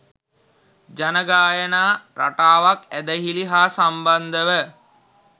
ජන ගායනා රටාවක් ඇදහිලි හා සම්බන්ධව